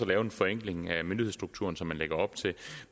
lave en forenkling af myndighedsstrukturen sådan som man lægger op til